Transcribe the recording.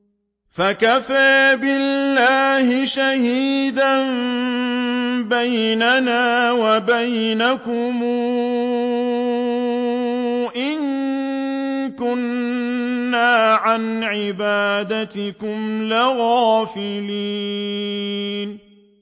فَكَفَىٰ بِاللَّهِ شَهِيدًا بَيْنَنَا وَبَيْنَكُمْ إِن كُنَّا عَنْ عِبَادَتِكُمْ لَغَافِلِينَ